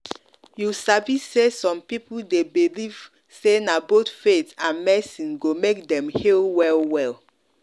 you sabi say some people dey believe say na both faith and medicine go make dem heal well-well.